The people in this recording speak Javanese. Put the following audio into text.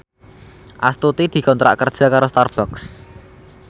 Astuti dikontrak kerja karo Starbucks